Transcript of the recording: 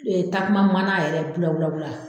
takuma mana yɛrɛ bula bula bula.